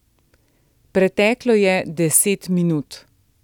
Preteklo je deset minut.